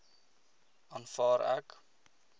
aanvaar ek